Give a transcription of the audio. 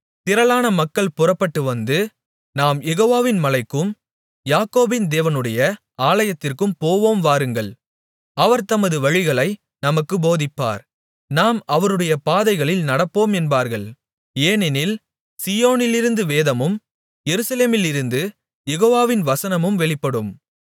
திரளான மக்கள் புறப்பட்டுவந்து நாம் யெகோவாவின் மலைக்கும் யாக்கோபின் தேவனுடைய ஆலயத்திற்கும் போவோம் வாருங்கள் அவர் தமது வழிகளை நமக்குப் போதிப்பார் நாம் அவருடைய பாதைகளில் நடப்போம் என்பார்கள் ஏனெனில் சீயோனிலிருந்து வேதமும் எருசலேமிலிருந்து யெகோவாவின் வசனமும் வெளிப்படும்